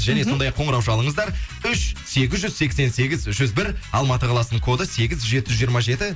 және сондай ақ қоңырау шалыңыздар үш сегіз жүз сексен сегіз жүз бір алматы қаласының коды сегіз жеті жүз жиырма жеті